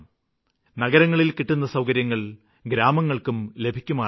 നഗരങ്ങളില് കിട്ടുന്ന സൌകര്യങ്ങള് ഗ്രാമങ്ങള്ക്കും ലഭിക്കുമാറാകണം